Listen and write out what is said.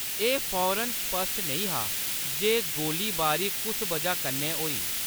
एह्‌‌ फौरन स्पश्ट नेईं हा जे गोलीबारी कुस वजह कन्नै होई।